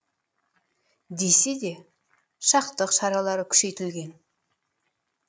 десе де сақтық шаралары күшейтілген